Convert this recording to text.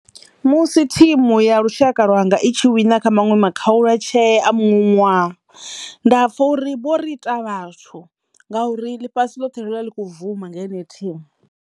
Musi thimu ya lushaka lwanga i tshi wina kha maṅwe makhaulatshee a muṅwe ṅwaha nda pfha uri vho ri ita vhathu ngauri ḽifhasi ḽothe ḽi vha ḽi kho bvuma nga yeneyi thimu.